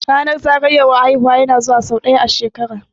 Ranar zagayowar haihuwa ya na zuwa sau ɗaya a shekara